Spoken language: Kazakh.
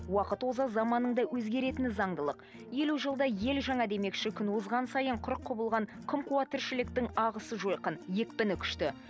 уақыт оза заманның да өзгеретіні заңдылық елу жылда ел жаңа демекші күн озған сайын қырық құбылған қымқуа тіршіліктің ағысы жойқын екпіні күшті